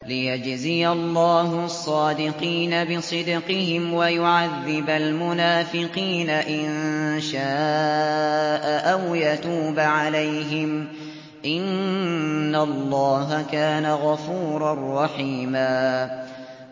لِّيَجْزِيَ اللَّهُ الصَّادِقِينَ بِصِدْقِهِمْ وَيُعَذِّبَ الْمُنَافِقِينَ إِن شَاءَ أَوْ يَتُوبَ عَلَيْهِمْ ۚ إِنَّ اللَّهَ كَانَ غَفُورًا رَّحِيمًا